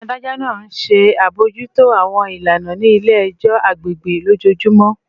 Adajọ naa nṣe abojuto awọn ilana ni ile-ẹjọ agbegbe lojoojumọ